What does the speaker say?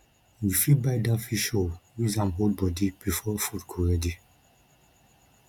you fit buy dat fish roll use am hold bodi before food go ready